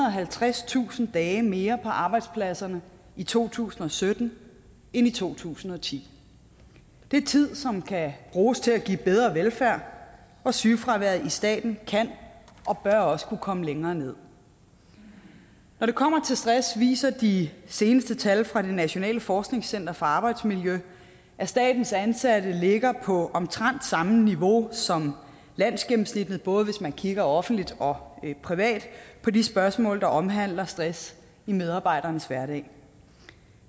og halvtredstusind dage mere på arbejdspladserne i to tusind og sytten end i to tusind og ti det er tid som kan bruges til at give bedre velfærd og sygefraværet i staten kan og bør også kunne komme længere nederst når det kommer til stress viser de seneste tal fra det nationale forskningscenter for arbejdsmiljø at statens ansatte ligger på omtrent samme niveau som landsgennemsnittet både hvis man kigger offentligt og privat på de spørgsmål der omhandler stress i medarbejdernes hverdag